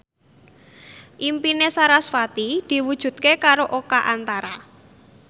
impine sarasvati diwujudke karo Oka Antara